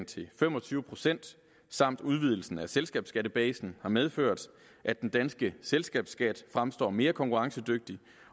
til fem og tyve procent samt udvidelserne af selskabsskattebasen har medført at den danske selskabsskat fremstår mere konkurrencedygtig